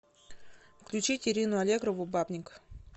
включить ирину аллегрову бабник